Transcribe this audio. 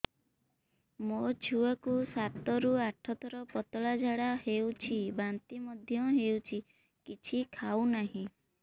ମୋ ଛୁଆ କୁ ସାତ ରୁ ଆଠ ଥର ପତଳା ଝାଡା ହେଉଛି ବାନ୍ତି ମଧ୍ୟ୍ୟ ହେଉଛି କିଛି ଖାଉ ନାହିଁ